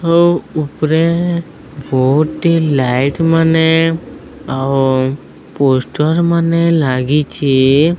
ଆଉ ଉପରେ ବହୁଟି ଲାଇଟ ମାନେ ଆଉ ପୋଷ୍ଟର ମାନେ ଲାଗିଛି।